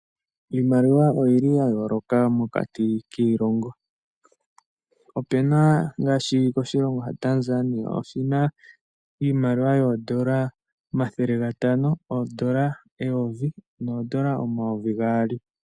Iimaliwa oyili yayooloka mokati kiilongo, opena ngaashi koshilongo shaTanzania oshina iimaliwa yoondola omathele gatano, oondola eyovi, noondola omayovi gaali.